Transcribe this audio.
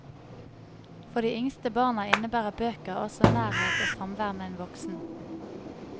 For de yngste barna innebærer bøker også nærhet og samvær med en voksen.